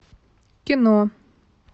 кино